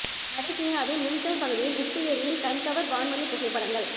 வட சீனாவின் யுன்செங் பகுதியில் உப்பு ஏரியின் கண்கவர் வான்வழிப் புகைப்படங்கள்